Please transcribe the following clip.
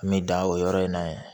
N bɛ da o yɔrɔ in na yen